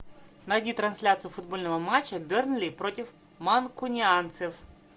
найди трансляцию футбольного матча бернли против манкунианцев